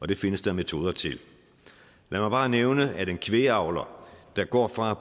det findes der metoder til lad mig bare nævne at en kvægavler der går fra at